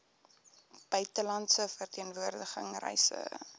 buitelandse verteenwoordiging reise